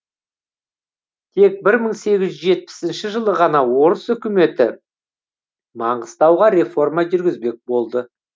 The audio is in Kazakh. тек бір мың сегіз жүз жетпісінші жылы ғана орыс өкіметі маңғыстауға реформа жүргізбек болды